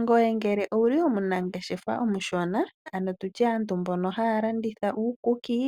Ngoye ngele owu li omunangeshefa omushona, ano tu tye aantu mbono haya landitha uukuki,